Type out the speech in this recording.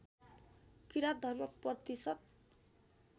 किरात धर्म प्रतिशत